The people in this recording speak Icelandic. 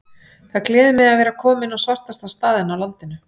Það gleður mig að vera kominn á svartasta staðinn á landinu.